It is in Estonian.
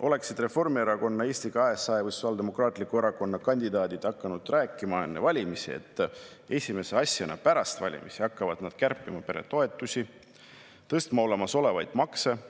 Oleksid Reformierakonna, Eesti 200 või Sotsiaaldemokraatliku Erakonna kandidaadid hakanud enne valimisi rääkima sellest, et esimese asjana pärast valimisi hakkavad nad kärpima peretoetusi, tõstma olemasolevaid makse ja